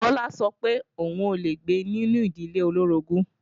Bọlá sọ pé òun ò lè gbé nínú ìdílé olóorogún